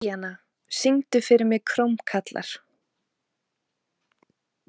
Bríanna, syngdu fyrir mig „Krómkallar“.